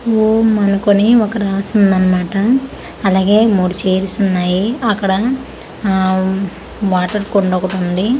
ఓం అనుకోని ఒక రాసుందన్న మాట అలగే మూడు చైర్స్ వున్నాయి అక్కడ ఆఆ వాటర్ కొండకటుంది అలగే.